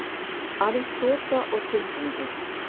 Aðeins þoka og dumbungur.